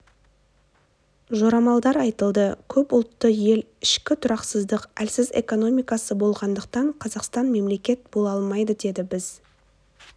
жорамалдар айтылды көпұлтты ел ішкі тұрақсыздық әлсіз экономикасы болғандықтан қазақстан мемлекет бола алмайды деді біз